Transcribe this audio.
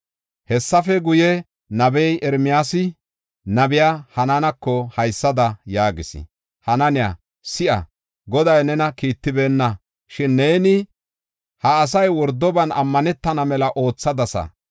Hessafe guye, nabey Ermiyaasi, nabiya Hananako haysada yaagis: “Hananiya, si7a! Goday nena kiittibeenna; shin neeni ha asay wordoban ammanetana mela oothadasa.